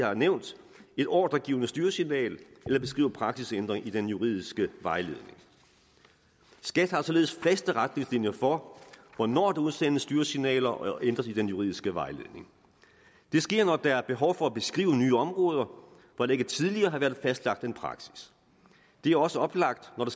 har nævnt et ordregivende styresignal eller beskriver praksisændringen i den juridiske vejledning skat har således faste retningslinjer for hvornår der udsendes styresignaler og ændres i den juridiske vejledning det sker når der er et behov for at beskrive nye områder hvor der ikke tidligere har været fastlagt en praksis det er også oplagt når